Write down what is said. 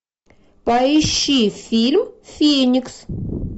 поищи фильм феникс